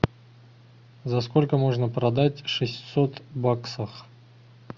за сколько можно продать шестьсот баксов